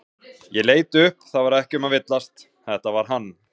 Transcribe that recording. Ég leit upp það var ekki um að villast, þetta var hann.